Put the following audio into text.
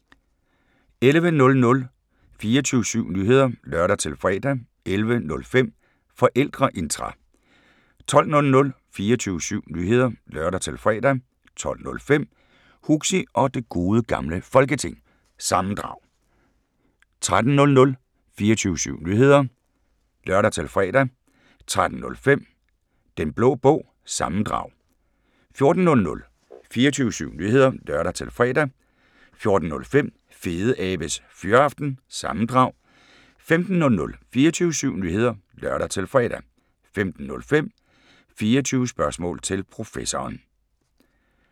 11:00: 24syv Nyheder (lør-fre) 11:05: Forældreintra 12:00: 24syv Nyheder (lør-fre) 12:05: Huxi og det Gode Gamle Folketing – sammendrag 13:00: 24syv Nyheder (lør-fre) 13:05: Den Blå Bog – sammendrag 14:00: 24syv Nyheder (lør-fre) 14:05: Fedeabes Fyraften – sammendrag 15:00: 24syv Nyheder (lør-fre) 15:05: 24 Spørgsmål til Professoren